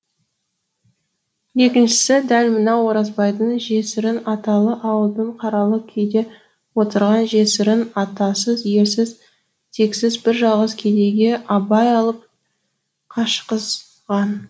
екіншісі дәл мынау оразбайдың жесірін аталы ауылдың қаралы күйде отырған жесірін атасыз елсіз тексіз бір жалғыз кедейге абай алып қашқызған